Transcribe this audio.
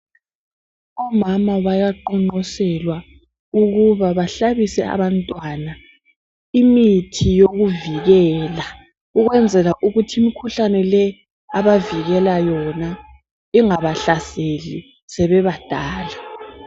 Omama bayaqonqoselwa ukuba bahlabise abantwana imithi yokuvikela ukwenzela ukuthi imikhuhlane le abavikela yona ingabahlaseli sebebadala.